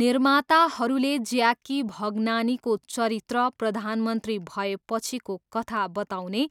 निर्माताहरूले ज्याकी भगनानीको चरित्र प्रधानमन्त्री भएपछिको कथा बताउने